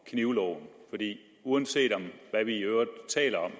knivloven for uanset hvad vi i øvrigt taler